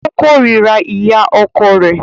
O kòrira ìyá ọkọ rẹ.